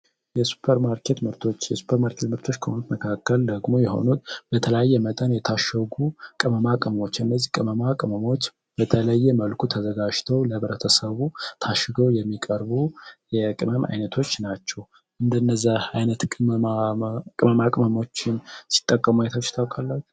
የሱፐር ማርኬት ምርቶች፤ የሱፐር ማርኬት ምርቶች መካከል ከሆኑት ደግሞ በተለያየ መጠን የታሸጉ ቅመማ ቅመሞች እንዚህ ቅመማ ቅመሞች በተለያየ መልኩ ተዘጋጅተው ለህብረተሰቡ ታሽገዉ የሚወርቡ የቅመም አይነቶች ናቸዉ። እንደነዚህ አይነት ቅመማ ቅመሞችን ሲጠቀሙ አይታቹህ ታዉቃላቹህ?